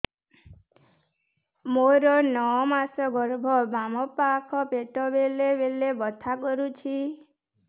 ମୋର ନଅ ମାସ ଗର୍ଭ ବାମ ପାଖ ପେଟ ବେଳେ ବେଳେ ବଥା କରୁଛି